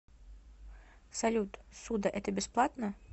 салют ссуда это бесплатно